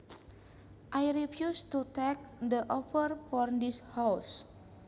I refuse to take the offer for this house